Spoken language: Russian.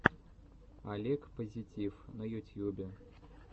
олег позитив на ютьюбе